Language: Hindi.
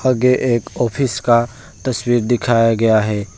आगे एक ऑफिस का तस्वीर दिखाया गया है।